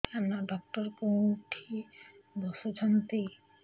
କାନ ଡକ୍ଟର କୋଉଠି ବସୁଛନ୍ତି